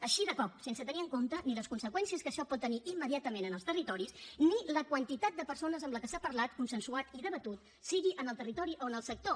així de cop sense tenir en compte ni les conseqüències que això pot tenir immediatament en els territoris ni la quantitat de persones amb la que s’ha parlat consensuat i debatut sigui en el territori o en el sector